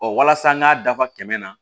Ɔ walasa n k'a dafa kɛmɛ na